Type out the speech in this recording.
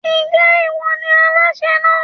Ń jẹ́ ìwọ ni Aláṣẹ náà?